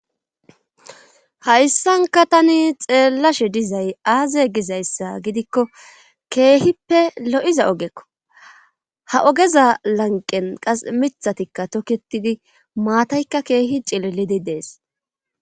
Hayssanka tani xeellashe dizay aaze gizayssa gidikko keehippe lo'iza ogekko ha ogeza lanqen qas mithatikka tokketidi maataykka keehi cileledi dees.